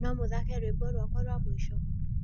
no mũthake rwĩmbo rwakwa rwa mũĩco